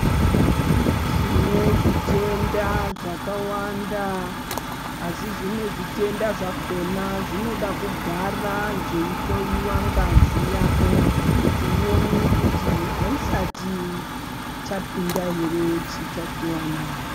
Tine zvitenda zvakawanda asi zvimwe zvitenda zvakona zvinoda kugara zveihloiwa ngazi yako. Kuti uone kuti haisati chapinda ere chitachivana.